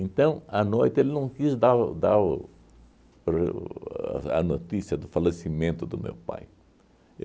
à noite, ele não quis dar o dar o o a notícia do falecimento do meu pai.